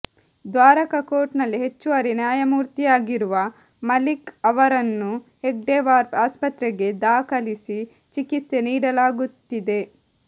ದ್ವಾರಕಾ ಕೋರ್ಟ್ನಲ್ಲಿ ಹೆಚ್ಚುವರಿ ನ್ಯಾಯಮೂರ್ತಿಯಾಗಿರುವ ಮಲಿಕ್ ಅವರನ್ನು ಹೆಡ್ಗೆವಾರ್ ಆಸ್ಪತ್ರೆಗೆ ದಾಖಲಿಸಿ ಚಿಕಿತ್ಸೆ ನೀಡಲಾಗುತ್ತಿದೆ